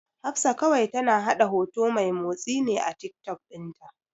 Hafsat kawai tana haɗa hoto mai motsi ne a Tiktok ɗinta.